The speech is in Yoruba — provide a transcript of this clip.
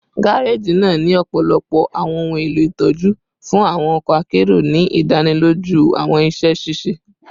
gareji naa ni ọpọlọpọ awọn ohun elo itọju fun awọn ọkọ akero, ni idaniloju awọn iṣẹ ṣiṣe